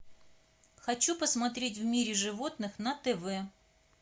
хочу посмотреть в мире животных на тв